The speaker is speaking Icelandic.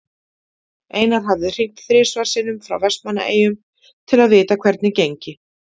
Einar hafi hringt þrisvar sinnum frá Vestmannaeyjum til að vita hvernig gengi.